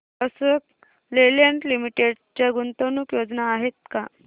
Ashok Leyland Limited च्या गुंतवणूक योजना आहेत का